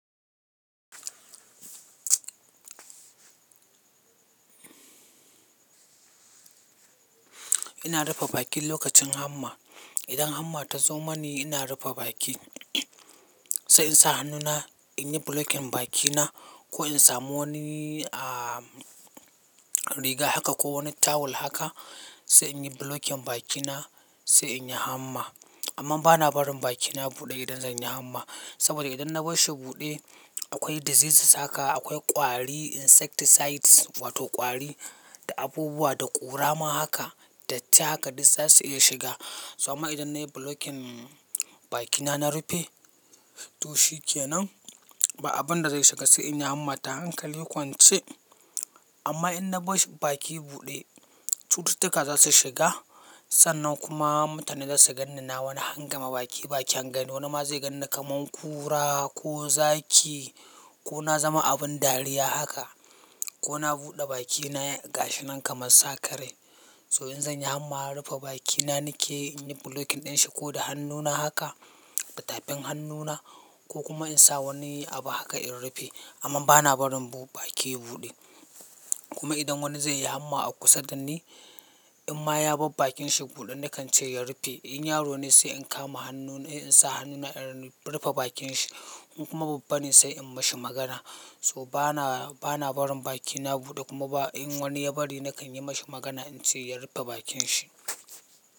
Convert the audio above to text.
Ina rufe bakin lokacin hamma. Idan hamma ta zo mani ina rufe baki. Sai in sa hannuna, in yi bulokin bakina ko in samu wani, ah, riga haka ko wani tawul haka sai in yi bulokin bakina sai in yi hamma. Amma bana barin bakina ya buɗe idan zan yi hamma. Saboda idan na bar shi buɗe akwai diseases haka, akwai ƙwari, insecticides wato ƙwari da abubuwa da ƙura ma haka datti haka duk za su iya shiga. So amma idan na yi bulokin bakina na rufe to shi ke nan ba abin da zai shiga sai in yi hamma ta hankali kwance. Amma in na bar baki buɗe cututtuka za su shiga sannan kuma mutane za su gan ni na wani hangame baki bakyan gani. Wani ma zai gan ni kaman kura ko zaki ko na zama abin dariya haka ko na buɗe bakina ya gashi nan kaman sakarai. So in zan yi hamma na rufe bakina nike in yi bulokin ɗin shi ko da hannuna haka da tafin hannuna ko kuma in sa wani abu haka in rufe. Amma bana barin bu-baki buɗe. Kuma idan wani zai yi hamma a kusa da ni in ma ya bar bakin shi buɗe nakan ce ya rufe. In yaro ne sai in kama hannu na he in sa hannuna in rufe bakin shi in kuma babba ne sai in mashi magana. So bana, bana barin bakina buɗe kuma ba in wani ya bari nakan yi mashi magana in ce ya rufe bakin shi.